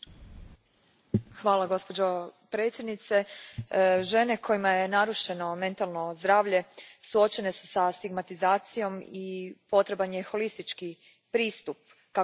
Gospođo predsjednice, žene kojima je narušeno mentalno zdravlje suočene su sa stigmatizacijom i potreban je holistički pristup kako bi im se pomoglo.